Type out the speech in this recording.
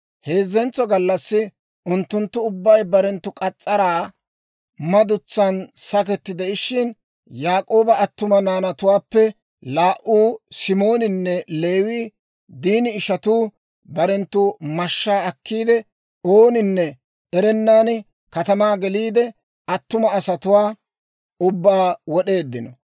Heezzentso gallassi, unttunttu ubbay barenttu k'as's'araa madutsan saketi de'ishshin, Yaak'ooba attuma naanatuwaappe laa"uu, Simooninne Leewii, Diini ishatuu, barenttu mashshaa akkiidde, ooninne erennan katamaa geliide, attuma asatuwaa ubbaa wod'eeddino.